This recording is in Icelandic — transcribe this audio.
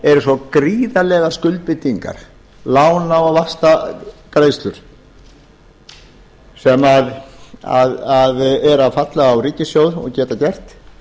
eru svo gríðarlegar skuldbindingar lána og vaxtagreiðslur sem eru að falla á ríkissjóð eða geta gert